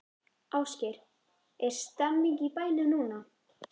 Ásgeir, er stemning í bænum núna?